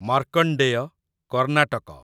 Markandeya, Karnataka